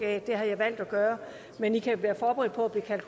aet det har jeg valgt at gøre men i kan være forberedt på